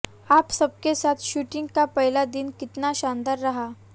आप सबके साथ शूटिंग का पहला दिन कितना शानदार रहा